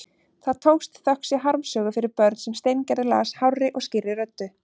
Það tókst, þökk sé harmsögu fyrir börn sem Steingerður las hárri og skýrri röddu.